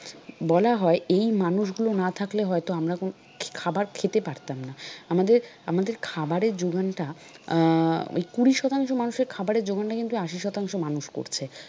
বলা হয় এই মানুষগুলো না থাকলে হয়তো আমরা খাবার খেতে পারতাম না আমাদের আমাদের খাবারের যোগানটা আহ ওই কুড়ি শতাংশ মানুষের খাবারের যোগানটা কিন্তু আশি শতাংশ মানুষ করছে।